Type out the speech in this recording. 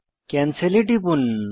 cancel এ টিপুন